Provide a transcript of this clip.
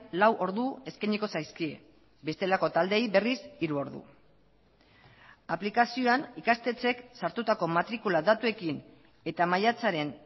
lau ordu eskainiko zaizkie bestelako taldeei berriz hiru ordu aplikazioan ikastetxeek sartutako matrikula datuekin eta maiatzaren